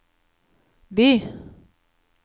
by